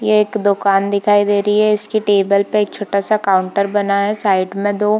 ये एक दुकान दिखाई दे रही है इसकी टेबल पे एक छोटा सा काउंटर बना है साइड में दो --